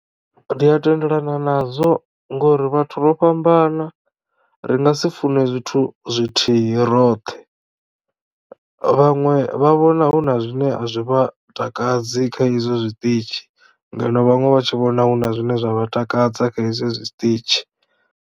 Ndi a tendelana nazwo ngori vhathu ro fhambana ri nga si fune zwithu zwithihi roṱhe vhaṅwe vha vhona huna zwine a zwi vha takadzi kha izwo zwiṱitshi ngeno vhaṅwe vha tshi vhona huna zwine zwa vha takadza kha hezwi zwiṱitshi.